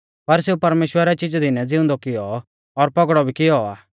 पर सेऊ परमेश्‍वरै चिजै दिनै ज़िउंदौ किऔ और पौगड़ौ भी किऔ आ